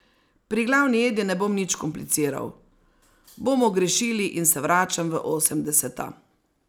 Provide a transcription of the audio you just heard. Pri glavni jedi ne bom nič kompliciral, bomo grešili in se vračam v osemdeseta.